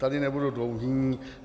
Tady nebudu dlouhý.